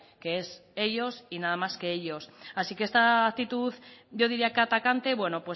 que es ellos y nada más que ellos así que esta actitud yo diría que atacante bueno